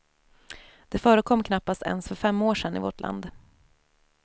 Det förekom knappast ens för fem år sedan i vårt land.